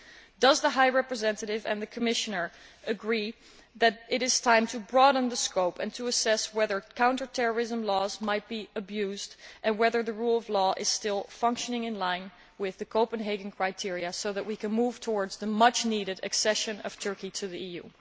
Would the High Representative and the Commissioner agree that it is time to broaden the scope and assess whether counter terrorism laws are being abused and whether the rule of law is still functioning in line with the Copenhagen criteria, so that we can move towards the much needed accession of Turkey to the EU?